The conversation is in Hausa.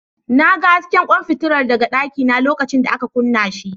Na ga hasken kwan fitila daga dakina lokacin da aka kunna shi.